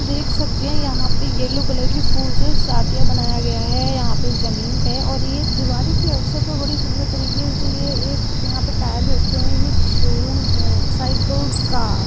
देख सकते है यहा पे येल्लो कलर की फुल्स है सादिया बनाया गया है यहा पे जमीन पे और ये दीवारी के अवसर पर बड़ी सुंदर तरीके से ये एक यहाँ पे ऐ टायर रखे हुए है एक शोरूम है। साइकल का--